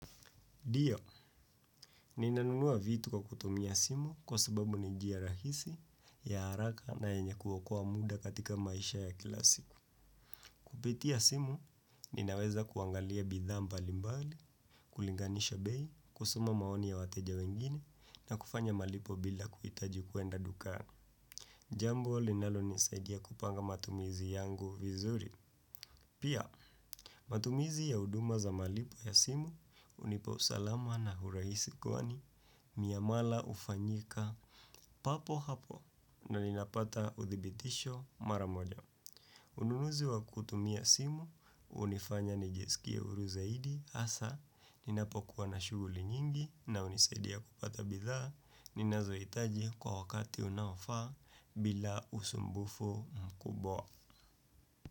Ndio, ninanunua vitu kwa kutumia simu kwa sababu nijia rahisi ya haraka na yenye kuokoa muda katika maisha ya kila siku. Kupitia simu, ninaweza kuangalia bidhaa mbalimbali, kulinganisha bei, kusoma maoni ya wateja wengine na kufanya malipo bila kuhitaji kuenda dukani. Jambu, linalonisaidia kupanga matumizi yangu vizuri. Pia, matumizi ya huduma za malipo ya simu, hunipau salama na urahisi kwani, miamala ufanyika, papo hapo, na ninapata uthibitisho maramoja. Ununuzi wa kutumia simu, hunifanya nijiskie huru zaidi, hasa, ninapokuwa na shughuli nyingi, na hunisadia kupata bidhaa, ninazohitaji kwa wakati unaofaa, bila usumbufu mkubwa.